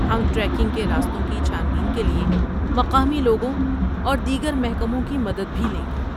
ہم ٹریکنگ کے راستوں کی چھان بین کے لیے مقامی لوگوں اور دیگر محکموں کی مدد بھی لیں گے۔